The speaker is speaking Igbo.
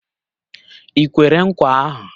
I kwere nkwa ahu?